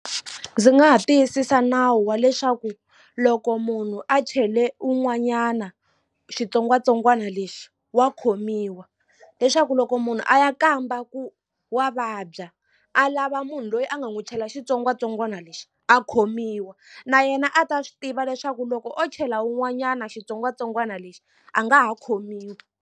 Ndzi nga ha tiyisisa nawu wa leswaku loko munhu a chele un'wanyana xitsongwatsongwana lexi wa khomiwa leswaku loko munhu a ya kamba ku wa vabya a lava munhu loyi a nga n'wi chela xitsongwatsongwana lexi a khomiwa na yena a ta swi tiva leswaku loko o chela wun'wanyana xitsongwatsongwana lexi a nga ha khomiwi.